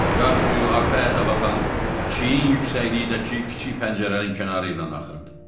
Qar suyu arxa əyata baxan çiyni yüksəkliyindəki kiçik pəncərənin kənarı ilə axırdı.